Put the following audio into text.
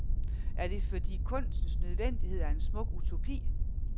Er det fordi kunstens nødvendighed er en smuk utopi?